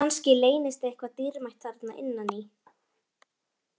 Kannski leynist eitthvað dýrmætt þarna innan í?